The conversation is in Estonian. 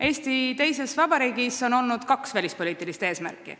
" Eesti teises vabariigis on tõesti olnud kaks välispoliitilist eesmärki.